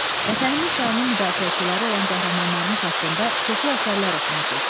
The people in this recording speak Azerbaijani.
Vətənimiz və onun müdafiəçiləri olan qəhrəmanlarımız haqqında çoxlu əsərlər oxumusunuz.